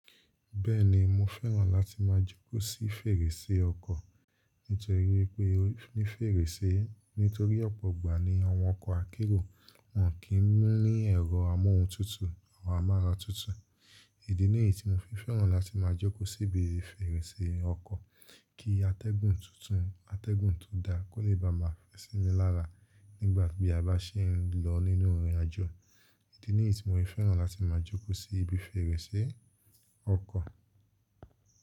Bẹ́ẹ̀ni mo fẹ́ràn láti máa jókòó sí fèrèsé ọkọ̀ nítorí pé ní fèrèsé nítorí ọ̀pọ̀ ìgbà ni àwọn ọkọ̀ akérò wọn kì í ní ẹ̀rọ amóhuntutù àwọn amáratutù. Idi ni yií tí mo fi fẹ́ràn láti máa jókòó sí ibi fèrèsé ọkọ̀, kí atẹ́gùn tuntun, atẹ́gùn tó da kó lè bá máa fe sinmi lára nígbà tí a bá ṣe é ń lọ nínú ìrìnàjò. Idí ni yií tí mo fi fẹ́ràn láti máa jókòó sí ibi fèrèsé ọkọ̀.